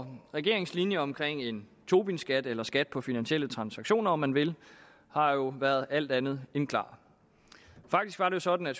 for regeringens linje omkring en tobinskat eller skat på finansielle transaktioner om man vil har jo været alt andet end klar faktisk var det sådan at